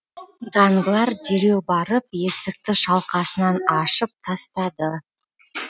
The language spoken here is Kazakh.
данглар дереу барып есікті шалқасынан ашып тастады